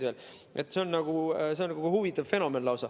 See on lausa huvitav fenomen.